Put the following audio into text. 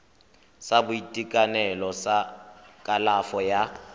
sa boitekanelo sa kalafo ya